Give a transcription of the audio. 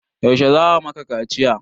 Yaushe za a maka kaciya?